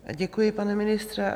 Děkuji, pane ministře.